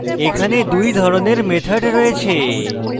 এখানে দুই ধরনের methods রয়েছে